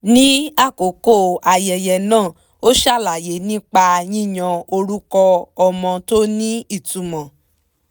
ní àkókò ayẹyẹ náà ó ṣàlàyé nípa yíyan orúkọ ọmọ tó ní ìtumọ̀